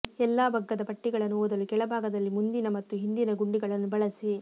ಎಲ್ಲಾ ಬಗ್ಗದ ಪಟ್ಟಿಗಳನ್ನು ಓದಲು ಕೆಳಭಾಗದಲ್ಲಿ ಮುಂದಿನ ಮತ್ತು ಹಿಂದಿನ ಗುಂಡಿಗಳನ್ನು ಬಳಸಿ